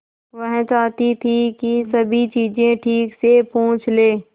वह चाहती थी कि सभी चीजें ठीक से पूछ ले